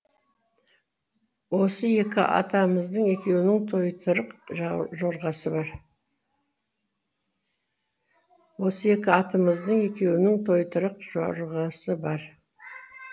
осы екі атымыздың екеуінің тойтырақ жорғасы бар